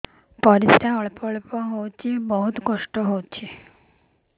ପରିଶ୍ରା ଅଳ୍ପ ଅଳ୍ପ ହଉଚି ବହୁତ କଷ୍ଟ ହଉଚି